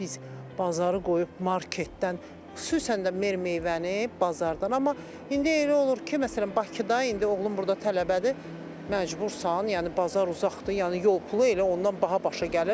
Biz bazarı qoyub marketdən, xüsusən də meyvə-tərəvəzi bazardan, amma indi elə olur ki, məsələn Bakıda indi oğlum burda tələbədir, məcbursan, yəni bazar uzaqdır, yəni yol pulu elə ondan baha başa gəlir.